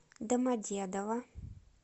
домодедово